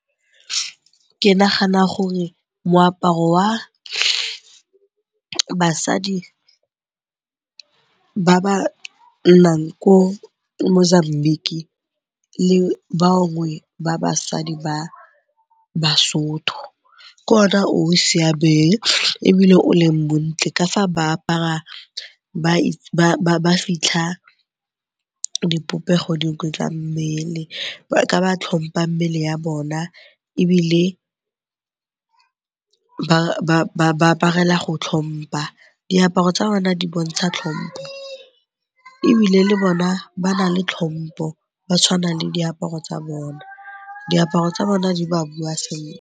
Ke nagana gore moaparo wa basadi ba ba nnang ko Mozambique le bangwe ba basadi ba Basotho ke one o o siameng ebile o leng montle ka fa ba apara ba fitlha dipopego dingwe tsa mmele ka ba tlhompa mmele ya bona ebile ba aparela go tlhompa. Diaparo tsa bona di bontsha tlhompo ebile le bona ba na le tlhompo, ba tshwana le diaparo tsa bona. Diaparo tsa bona di ba bua sentle.